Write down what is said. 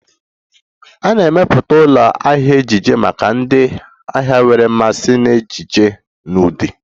A na-emepụta ụlọ ahịa ejiji maka ndị ahịa nwere mmasị na ejiji na ụdị